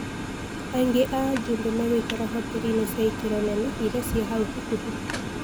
Aingi a ajube meguikara hoteri-ini cia ikiro nene iria cie hau hakuhi.